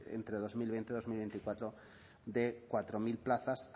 entre dos mil veinte y dos mil veinticuatro de cuatro mil plazas